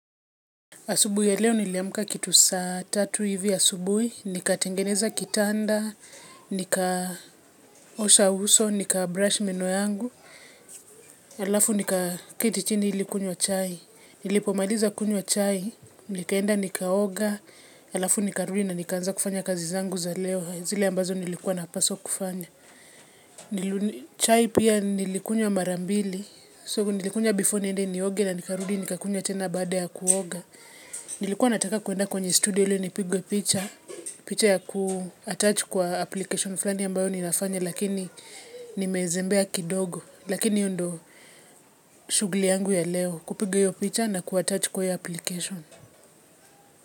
Asubuhi ya leo niliamka kitu saa tatu hivi asubui, nikatengeneza kitanda, nika osha uso, nika brush meno yangu, alafu nika keti chini ili kunywa chai. Nilipomaliza kunywa chai, nikaenda nikaoga alafu nikarudi nikaanza kufanya kazi zangu za leo zile nilikua napaswa kufanya. Chai pia nilikunyw.a marambili. So, nilikunywa before niende nioge na nikarudi nikakunywa tena baade ya kuoga. Nilikuwa nataka kuenda kwenye studio ili nipigwe picha, picha ya kuattach kwa application flani ambayo ninafanya lakini nimezembea kidogo. Lakini iyo ndo shughli yangu ya leo kupiga iyo picha na kuattach kwa iyo application.